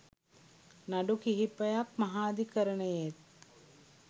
නඩු කිහිපයක් මහාධිකරණයේත්